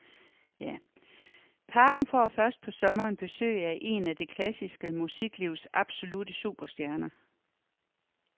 Parken får først på sommeren besøg af en af det klassiske musiklivs absolutte superstjerner.